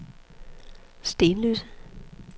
Stenløse